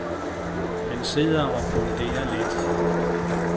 Han sidder og funderer lidt.